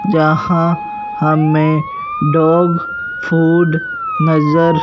जहां हमें dog food नजर--